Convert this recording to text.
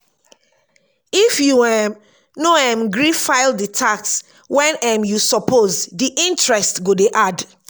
if you um no um gree file di tax when um you suppose di interest go dey add